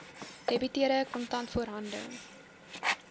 debiteure kontant voorhande